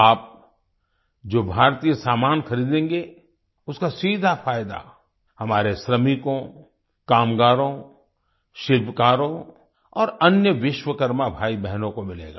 आप जो भारतीय सामान खरीदेंगे उसका सीधा फ़ायदा हमारे श्रमिकों कामगारों शिल्पकारों और अन्य विश्वकर्मा भाईबहनों को मिलेगा